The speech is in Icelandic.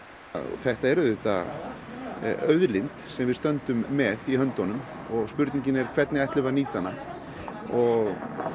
þetta er auðvitað auðlind sem við stöndum með í höndunum og spurningin er hvernig ætlum við að nýta hana og